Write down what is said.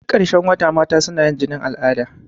Duk ƙarshen wata mata suna yin jinin al'ada.